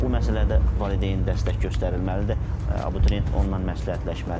Bax bu məsələdə valideyn dəstək göstərilməlidir, abituriyent onunla məsləhətləşməlidir.